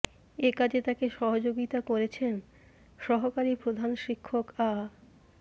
এ কাজে তাকে সহযোগিতা করেছেন সহকারী প্রধান শিক্ষক আ